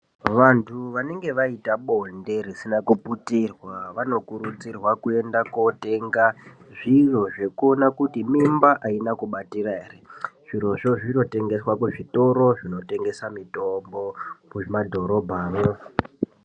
Vantu vanenge vaita bonde rising kuputirwa vanokurudzirwa kuenda kunotenga zviro zvinoona kuti mimba ayina kubatira here zviro izvi zvinotengeswa kuzvitoro zvinotengesa mitombo mumadhorobhamo.